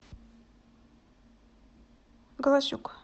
голосюк